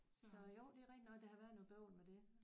Så jo det er rigtig nok der har været noget bøvl med det